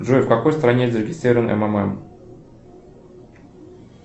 джой в какой стране зарегистрирован ммм